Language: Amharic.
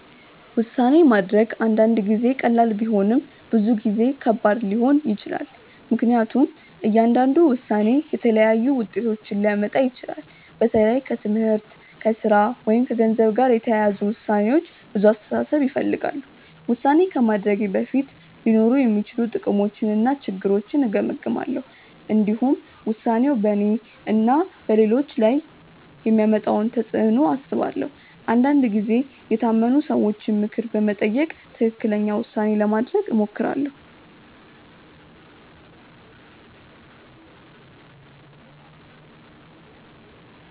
ውሳኔ ማድረግ አንዳንድ ጊዜ ቀላል ቢሆንም ብዙ ጊዜ ከባድ ሊሆን ይችላል። ምክንያቱም እያንዳንዱ ውሳኔ የተለያዩ ውጤቶችን ሊያመጣ ይችላል። በተለይ ከትምህርት፣ ከሥራ ወይም ከገንዘብ ጋር የተያያዙ ውሳኔዎች ብዙ አስተሳሰብ ይፈልጋሉ። ውሳኔ ከማድረጌ በፊት ሊኖሩ የሚችሉ ጥቅሞችንና ችግሮችን እገመግማለሁ። እንዲሁም ውሳኔው በእኔና በሌሎች ላይ የሚያመጣውን ተፅዕኖ አስባለሁ። አንዳንድ ጊዜ የታመኑ ሰዎችን ምክር በመጠየቅ ትክክለኛ ውሳኔ ለማድረግ እሞክራለሁ.